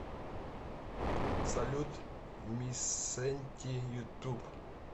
салют ми сенти ютуб